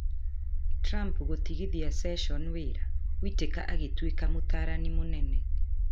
Trump gũtigithia Session wĩra: Whittaker agĩtuĩka mũtaarani mũnene